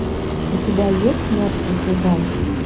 у тебя есть мертвый сезон